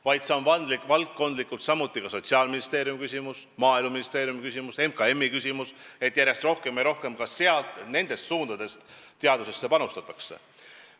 Valdkondlikult on see samuti Sotsiaalministeeriumi küsimus, Maaeluministeeriumi küsimus ja MKM-i küsimus, et järjest rohkem ja rohkem teadusesse panustatakse.